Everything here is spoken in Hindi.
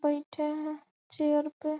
बैठे हैं चेयर पे --